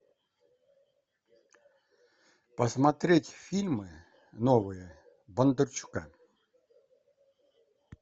посмотреть фильмы новые бондарчука